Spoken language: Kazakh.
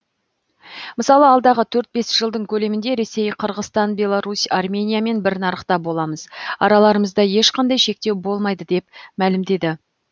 мысалы алдағы төрт бес жылдың көлемінде ресей қырғызстан беларусь армениямен бір нарықта боламыз араларымызда ешқандай шектеу болмайды деп мәлімдеді